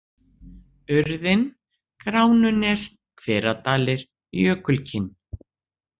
Urðin, Gránunes, Hveradalir, Jökulkinn